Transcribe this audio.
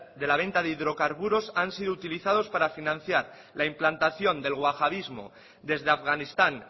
de la venta de hidrocarburos han sido utilizados para financiar la implantación del guajadismo desde afganistán